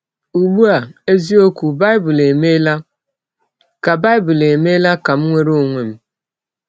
Ụgbụ a, eziọkwụ Baịbụl emeela ka Baịbụl emeela ka m nwere ọnwe m! ”